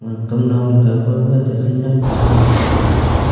kam nong thei kaw ke gaga khenek pa a chi kam tega.